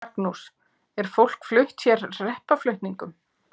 Magnús: Er fólk flutt hér hreppaflutningum?